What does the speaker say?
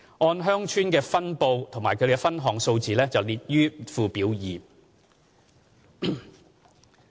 按鄉村分布及其分項數字列於附表二。